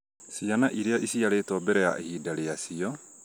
ciana iria iciarĩtwo mbere ya ihinda rĩacio